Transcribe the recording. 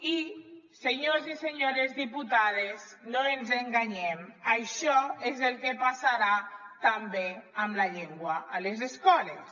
i senyors i senyores diputades no ens enganyem això és el que passarà també amb la llengua a les escoles